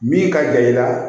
Min ka jan i la